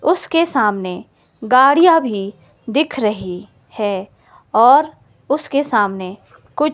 उसके सामने गाड़ियां भी दिख रही है और उसके सामने कुछ --